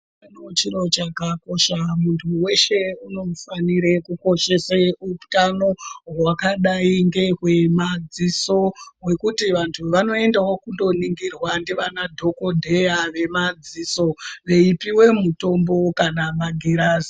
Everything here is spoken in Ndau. Chiro chakakosha muntu weshe unofanire kukoshese utano hwakadai ngehwemadziso hwekuti vantu vanoendawo kundoningirwa ndivana dhokodheya vemadziso veipiwe mitombo kana magirazi.